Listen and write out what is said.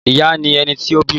Ìyá ni ẹni tí ó bímọ.